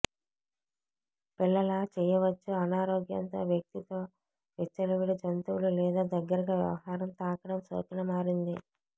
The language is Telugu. పిల్లల చెయ్యవచ్చు అనారోగ్యంతో వ్యక్తి తో విచ్చలవిడి జంతువులు లేదా దగ్గరగా వ్యవహారం తాకడం సోకిన మారింది